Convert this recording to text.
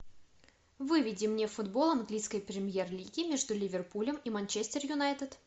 выведи мне футбол английской премьер лиги между ливерпулем и манчестер юнайтед